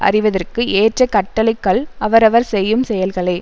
அறிவதற்கு ஏற்ற கட்டளைக்கல் அவரவர் செய்யும் செயல்களே